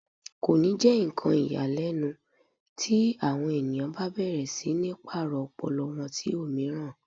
Kò ní jẹ́ ohun tó ya ni lẹ́nu ti àwọn èèyàn bá bẹ̀rẹ̀ sí ní pàrọ̀ ọpọlọ wọn sí òmíràn